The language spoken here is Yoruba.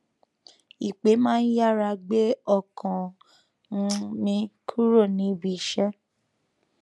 ìpè má n yára gbé ọkàm um mi kúrò níbi iṣẹ